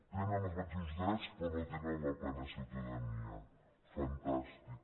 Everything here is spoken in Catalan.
tenen els mateixos drets però no tenen la plena ciutadania fantàstic